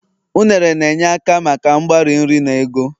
unere na-enye aka maka mgbari nri na ago